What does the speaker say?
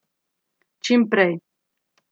Čim prej.